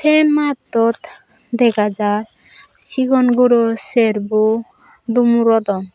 se mattot dega jar sigon guro serbo dumurodon.